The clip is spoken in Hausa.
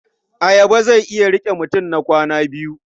Ayaba zai iya riƙe mutum na kwana biyu.